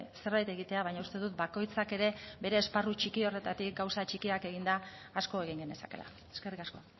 zerbait egitea baina uste dut bakoitzak ere bere esparru txiki horretatik gauza txikiak eginda asko egin genezakeela eskerrik asko